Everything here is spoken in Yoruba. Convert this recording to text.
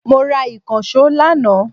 Mo ra ìkànsó lànà